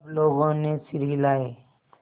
सब लोगों ने सिर हिलाए